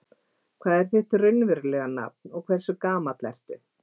Hvað er þitt raunverulega nafn og hversu gamall ertu?